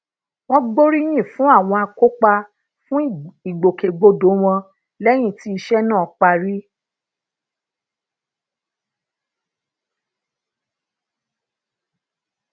wón gboriyin fun awon akópa fun ìgbòkègbodò won léyìn tí ise náà parí